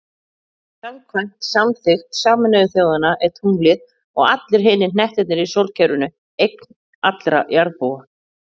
Samkvæmt samþykkt Sameinuðu þjóðanna er tunglið, og allir hinir hnettirnir í sólkerfinu, eign allra jarðarbúa.